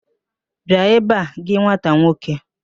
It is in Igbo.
Bịa ebe a gị nwata nwoke!